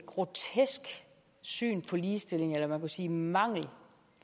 grotesk syn på ligestilling eller man kunne sige mangel